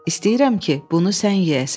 İstəyirəm ki, bunu sən yeyəsən.